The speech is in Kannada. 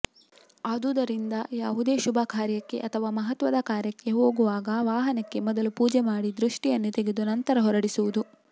ಆದುದರಿಂದ ಯಾವುದೇ ಶುಭಕಾರ್ಯಕ್ಕೆ ಅಥವಾ ಮಹತ್ವದ ಕಾರ್ಯಕ್ಕೆ ಹೋಗುವಾಗ ವಾಹನಕ್ಕೆ ಮೊದಲು ಪೂಜೆ ಮಾಡಿ ದೃಷ್ಟಿಯನ್ನು ತೆಗೆದು ನಂತರ ಹೊರಡುವುದು